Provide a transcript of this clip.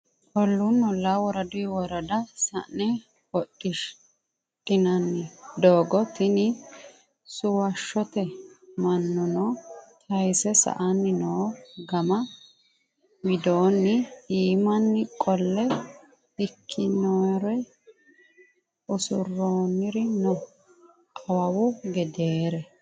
Olluni olla woradu worada sa'ne hodhinanni doogo tini suwashote mannuno tayse sa"ani no gama widokni iimani qolle ikkinore usuroniri no awawu gedere.